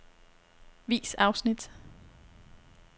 Vis afsnit.